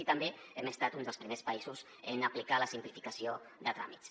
i també hem estat un dels primers països en aplicar la simplificació de tràmits